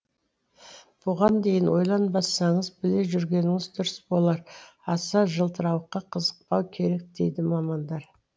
бұған дейін ойланбасаңыз біле жүргеніңіз дұрыс болар аса жылтырауыққа қызықпау керек дейді мамандар